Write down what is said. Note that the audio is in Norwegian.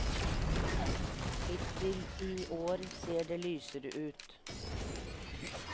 Hittil i år ser det lysere ut.